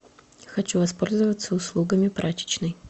хочу воспользоваться услугами прачечной